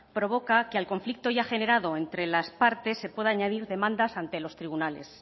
provoca que al conflicto ya generado entre las partes se pueda añadir demanda ante los tribunales